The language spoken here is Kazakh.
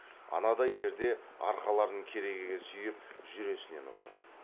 анадай жерде арқаларын керегеге сүйеп жүресінен отыр